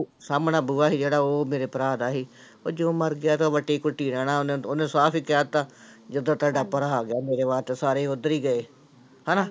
ਸਾਹਮਣਾ ਬੂਹਾ ਸੀ ਜਿਹੜਾ ਉਹ ਮੇਰੇ ਭਰਾ ਦਾ ਸੀ, ਉਹ ਜਦੋਂ ਮਰ ਗਿਆ ਤੇ ਵੱਟੀ ਕੁਟੀ ਰਹਿਣਾ ਉਹਨੇ ਉਹਨੇ ਸਾਫ਼ ਹੀ ਕਹਿ ਦਿੱਤਾ, ਜਦੋਂ ਤੁਹਾਡਾ ਭਰਾ ਗਿਆ ਮੇਰੇ ਵਾਸਤੇ ਸਾਰੇ ਉੱਧਰ ਹੀ ਗਏ ਹਨਾ।